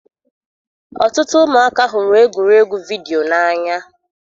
Ọtụtụ ụmụaka hụrụ egwuregwu vidiyo n'anya.